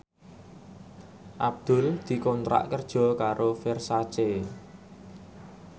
Abdul dikontrak kerja karo Versace